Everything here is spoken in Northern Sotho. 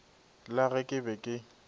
la ge ke be ke